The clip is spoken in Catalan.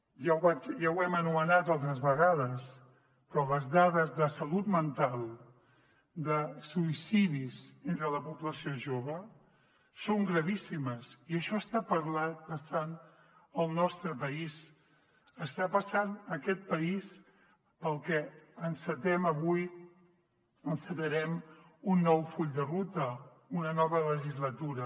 ja ho hem anomenat altres vegades però les dades de salut mental de suïcidis entre la població jove són gravíssimes i això està passant al nostre país està passant en aquest país per al que encetem avui encetarem un nou full de ruta una nova legislatura